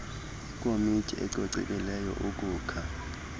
ikomityi ecocekileyo ukukha